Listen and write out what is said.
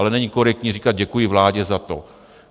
Ale není korektní říkat: děkuji vládě za to.